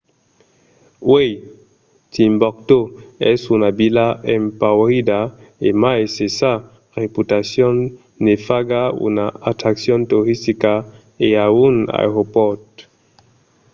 uèi timboctó es una vila empaurida e mai se sa reputacion ne faga una atraccion toristica e a un aeropòrt